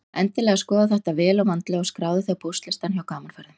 Endilega skoðaðu þetta vel og vandlega og skráðu þig á póstlistann hjá Gaman Ferðum.